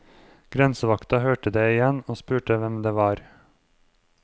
Grensevakta hørte det igjen og spurte hvem det var.